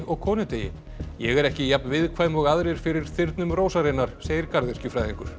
og konudegi ég er ekki jafn viðkvæm og aðrir fyrir þyrnum rósarinnar segir garðyrkjufræðingur